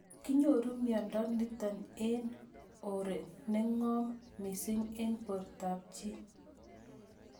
Kinyoru miondo nitok eng' or ne ng'om mising' eng' portab chii